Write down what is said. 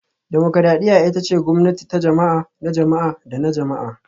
Dimokuradiyya ita ce gwamnati ta jama'a, na jama'a da na jama'a